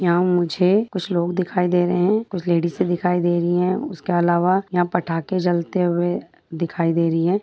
यहा मुझे कुछ लोग दिखाई दे रहे है कुछ लेडिस ए दिखाई दे रही है उसके अलावा यहा पटाके जलते हुए दिखाई दे रही है।